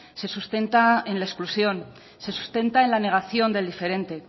se sustenta en la exclusión se sustenta en la negación del diferente